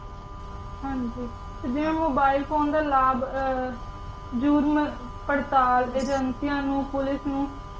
ਹਾਂਜੀ ਤੇ ਜਿਵੇਂ ਓਬਿਲੇ ਫੋਨੇ ਦਾ ਲਾਬ ਜੁਰਮ ਪਰ੍ਤਾਲ ਅਗੇੰਕਿਯਾਂ ਨੂ ਪੋਲਿਕੇ ਨੂ